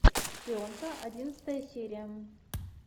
шпионка одиннадцатая серия